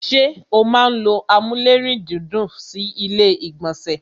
ṣé o máa n ló amúlérùndídùn sí ilé ìgbọ̀nsẹ̀?